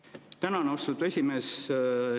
Tänan, austatud esimees!